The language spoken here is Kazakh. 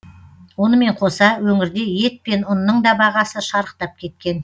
онымен қоса өңірде ет пен ұнның да бағасы шарықтап кеткен